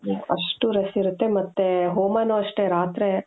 ಅಷ್ಟು rush ಇರುತ್ತೆ ಮತ್ತೆ ಹೋಮನು ಅಷ್ಟೆ ರಾತ್ರಿ